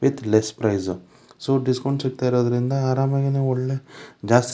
with less price so discount ಸಿಗ್ತಾಇರೋದರಿಂದ ಅರಾಮ್ ಆಗಿ ನೀವ್ ಒಳ್ಳೆ ಜಾಸ್ತ--